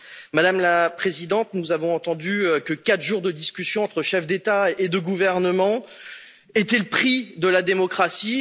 Madame la Présidente, nous avons entendu que 4 jours de discussions entre chefs d'État et de gouvernement était le prix de la démocratie.